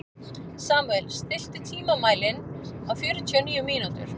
Samúel, stilltu tímamælinn á fjörutíu og níu mínútur.